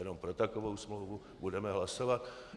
Jenom pro takovou smlouvu budeme hlasovat.